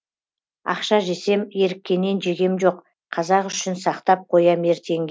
ақша жесем еріккеннен жегем жоқ қазақ үшін сақтап қоям ертеңге